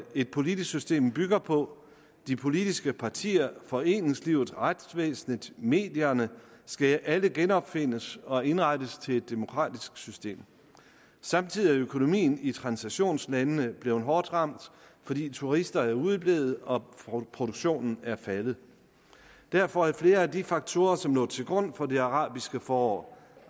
et politisk system bygger på de politiske partier foreningslivet retsvæsenet medierne skal alle genopfindes og indrettes til et demokratisk system samtidig er økonomien i transitionslandene blevet hårdt ramt fordi turisterne er udeblevet og produktionen er faldet derfor er flere af de faktorer som lå til grund for det arabiske forår